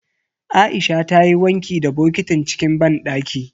Aisha ta yi wanki da bokitin cikin banɗaki.